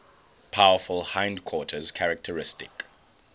powerful hindquarters characteristic